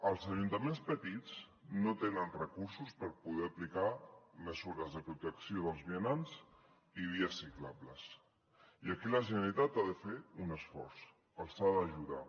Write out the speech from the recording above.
els ajuntaments petits no tenen recursos per poder aplicar mesures de protecció dels vianants i vies ciclables i aquí la generalitat ha de fer un esforç els ha d’ajudar